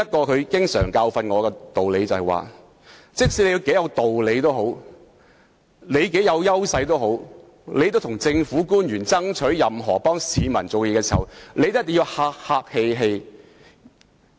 他經常提醒我一個道理，就是無論你有多大的道理和優勢，為市民向政府官員爭取任何東西時也一定要客氣。